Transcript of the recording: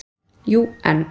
Jú, en.